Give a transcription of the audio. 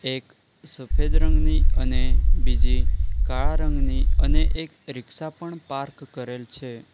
એક સફેદ રંગની અને બીજી કાળા રંગની અને એક રીક્ષા પણ પાર્ક કરેલ છે.